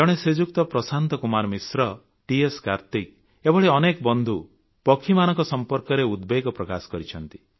ଜଣେ ଶ୍ରୀଯୁକ୍ତ ପ୍ରଶାନ୍ତ କୁମାର ମିଶ୍ର ଟିଏସ୍ କାର୍ତିକ୍ ଏଭଳି ଅନେକ ବନ୍ଧୁ ପକ୍ଷୀମାନଙ୍କ ସମ୍ପର୍କରେ ଉଦବେଗ ପ୍ରକାଶ କରିଛନ୍ତି